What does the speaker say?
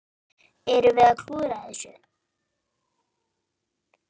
Erum við að klúðra þessu?